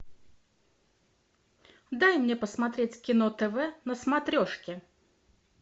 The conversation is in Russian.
дай мне посмотреть кино тв на смотрешке